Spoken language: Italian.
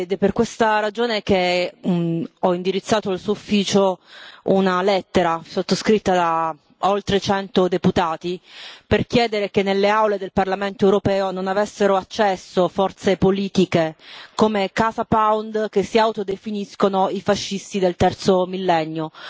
È per questa ragione che ho indirizzato al suo ufficio una lettera, sottoscritta da oltre cento deputati, per chiedere che nelle aule del Parlamento europeo non avessero accesso forze politiche come Casa Pound che si autodefiniscono i fascisti del terzo Millennio.